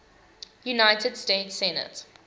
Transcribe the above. united states senate